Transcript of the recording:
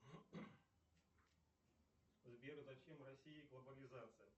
сбер зачем россии глобализация